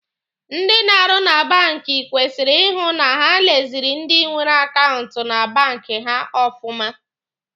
Ndị na-arụ na banki kwesịrị ịhụ na ha leziri ndi nwere akaụntụ na banki ha ọfụma.